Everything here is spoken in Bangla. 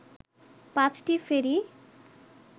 পাঁচটি ফেরি